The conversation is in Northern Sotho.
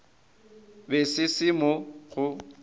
be se se mo go